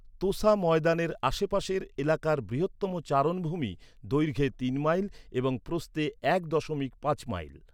তোসা ময়দানের আশেপাশের এলাকার বৃহত্তম চারণভূমি, দৈর্ঘ্যে তিন মাইল এবং প্রস্থে এক দশমিক পাঁচ মাইল।